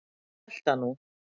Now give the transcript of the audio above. Ég hélt það nú!